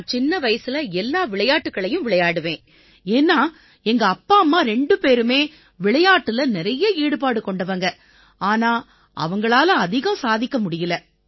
நான் சின்ன வயசுல எல்லா விளையாட்டுக்களையும் விளையாடுவேன் ஏன்னா எங்கப்பா அம்மா ரெண்டு பேருமே விளையாட்டுல நிறைய ஈடுபாடு கொண்டவங்க ஆனா அவங்களால அதிகம் சாதிக்க முடியலை